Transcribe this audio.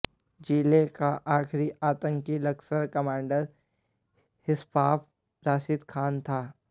जिले का आखिरी आतंकी लश्कर कमांडर इशफाक रशीद खान था